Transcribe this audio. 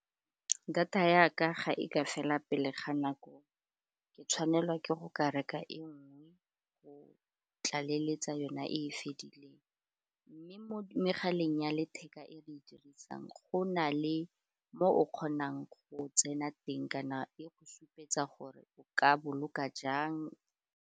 Data ya ka, ga e ka fela pele ga nako, ke tla tshwanelwa ke go ka reka e nngwe go tlaleletsa yona e e fedileng mme mo megaleng ya letheka e re e di dirisang go na le mo o kgonang go tsena teng kana e go supetsa gore o ka boloka jang.